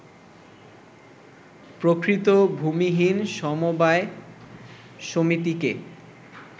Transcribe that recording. প্রকৃত ভূমিহীন সমবায় সমিতিকে